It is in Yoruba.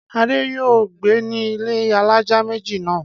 Adé yóò gbé ní ilé alájà méjì náà.